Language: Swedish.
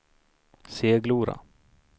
Seglora